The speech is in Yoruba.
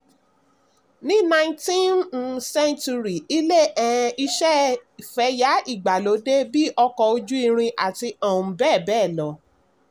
ní nineteen um century ilé um iṣẹ́ fẹ̀yà ìgbàlódé bí ọkọ̀-ojú-irin àti um bẹ́ẹ̀bẹ́ẹ̀ lọ.